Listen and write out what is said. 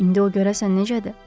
İndi o görəsən necədir?